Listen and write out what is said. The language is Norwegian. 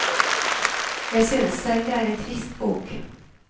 Jeg synes selv det er en trist bok.